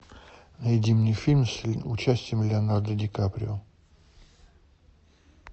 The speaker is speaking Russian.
найди мне фильм с участием леонардо ди каприо